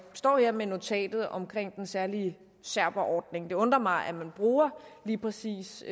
står her med notatet om den særlige serberordning det undrer mig at man bruger lige præcis